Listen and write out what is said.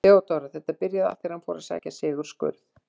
THEODÓRA: Þetta byrjaði allt þegar hann fór að sækja Sigurð skurð.